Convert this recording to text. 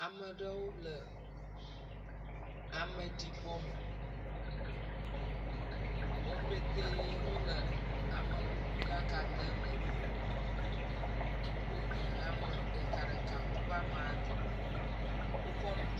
Ame aɖewo le ameɖibɔ me. Wo pete le amekuku ɖaka dem edoa me. Wonye ame ɖeka ɖeka wo ame adẽ.